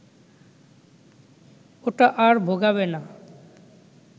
ওটা আর ভোগাবে না